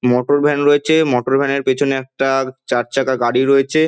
মটর van রয়েছে motor van এর পিছনে একটা চারচাকা গাড়ি রয়েছে।